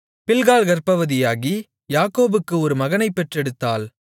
பில்காள் கர்ப்பவதியாகி யாக்கோபுக்கு ஒரு மகனைப் பெற்றெடுத்தாள்